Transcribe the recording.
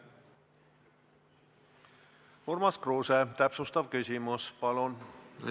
Urmas Kruuse, täpsustav küsimus, palun!